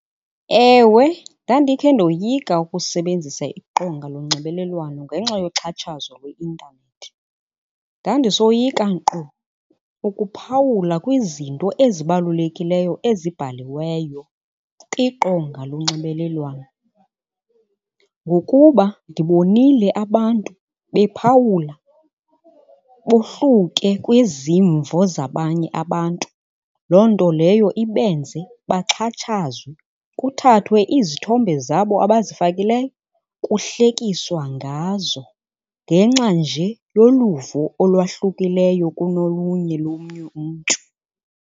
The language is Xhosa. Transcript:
Ewe, ndandikhe ndoyika ukusebenzisa iqonga lonxibelelwano ngenxa yokuxhatshazwa kwi-intanethi. Ndandisoyika nkqu ukuphawula kwizinto ezibalulekileyo ezibhaliweyo kwiqonga lonxibelelwano, ngokuba ndibonile abantu bephawula bohluke kwizimvo zabanye abantu. Loo nto leyo ibenze baxhatshazwe kuthathwe izithombe zabo abazifakileyo kuhlekiswa ngazo, ngenxa nje yoluvo olwahlukileyo kunolunye lomnye umntu.